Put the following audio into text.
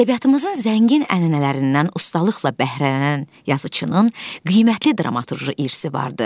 Ədəbiyyatımızın zəngin ənənələrindən ustalıqla bəhrələnən yazıçının qiymətli dramaturji irsi vardı.